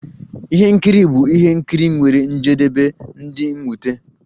Ihe nkiri bụ ihe nkiri nwere njedebe dị mwute.